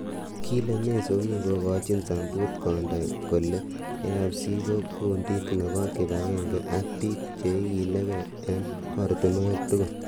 Kile Meso kingekochin sambut kondoi kole"AFC ko kundit nepo kipagenge ak pik che ikiligei ing ortunwek tugul."